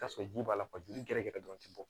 Ka sɔrɔ ji b'a la gɛrɛ gɛrɛ dɔrɔn ti bɔ